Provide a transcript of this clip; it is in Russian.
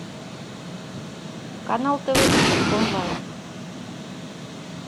канал тв три онлайн